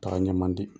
Taga ɲɛ man di